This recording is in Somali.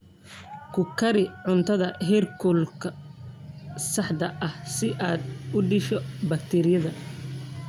Ku kari cuntada heerkulka saxda ah si aad u disho bakteeriyada.